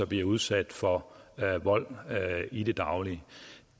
bliver udsat for vold i det daglige